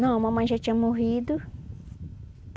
Não, a mamãe já tinha morrido.